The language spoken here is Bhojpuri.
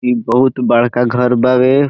इ बहुत-बड़का घर बाड़े।